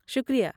شکریہ!